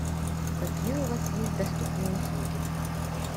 какие у вас есть доступные услуги